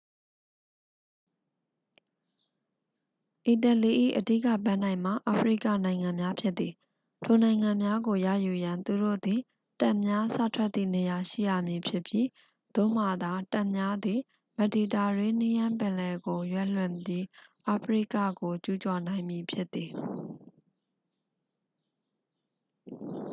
အီတလီ၏ အဓိက ပန်းတိုင်မှာ အာဖရိကနိုင်ငံများဖြစ်သည် ထိုနိုင်ငံများကို ရယူရန် သူတို့သည် တပ်များ စထွက်သည့်နေရာရှိရမည်ဖြစ်ပြီး သို့မှသာ တပ်များသည် မက်ဒီတာရေးနီးယန်းပင်လယ်ကို ရွက်လွှင့်ပြီး အာဖရိကကိုကျူးကျော်နိုင်မည်ဖြစ်သည်